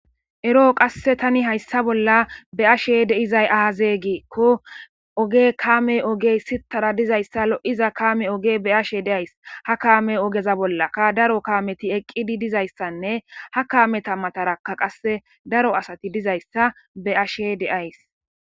eroo qasse tani hayssa bolla be'ashe de'izay aazegiikko oge kaame ogey sittara dizayssa lo'iza kame oge be ashe deays ha kaame ogeza bollaka daro kaameti eqqidi dizayssanne ha kaameta matarakka qasse daro asati dizayssa be ashe deays